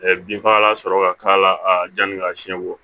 binfagalan sɔrɔ ka k'a la yani ka siɲɛ wɔ